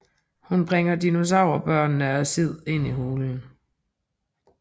Hun bringer dinosaur børnene og Sid ind i hulen